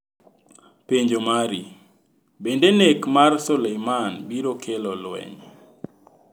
Penjo mari: Bende nek mar Soleimani biro kelo lweny?